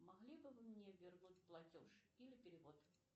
могли бы вы мне вернуть платеж или перевод